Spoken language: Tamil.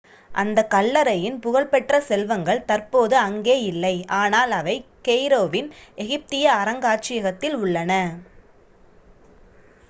அந்தக் கல்லறையின் புகழ் பெற்ற செல்வங்கள் தற்போது அங்கே இல்லை ஆனால் அவை கெய்ரோ வின் எகிப்திய அருங்காட்சியகத்தில் உள்ளன